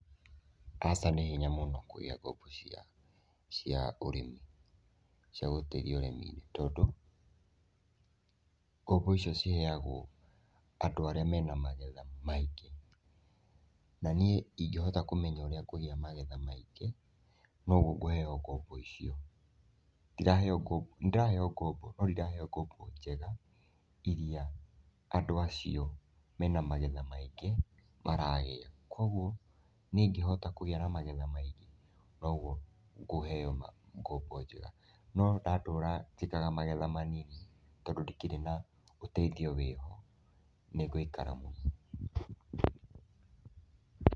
Aca nĩ hinya mũno kũgĩa ngombo cia ũrĩmi, cia gũteithia ũrĩmi-nĩ, tondũ ngombo ĩcio ciheyagwo andũ arĩa mena magetha maingĩ. Na niĩ ĩngĩhota kũmenya ũria ngugĩa magetha maingĩ noguo ngũheyo ngombo ĩcio. Nĩndĩraheyo ngombo no ndiraheyo ngombo njega iria andũ acio mena magetha maingĩ maraheyo, koguo niĩ ĩngĩhota kũgĩa na magetha maingĩ noguo ngũheyo ngombo njega. No ndatũra njĩkaga magetha manini tondũ ndikĩrĩ na ũteithio wĩho nĩngũikara mũno.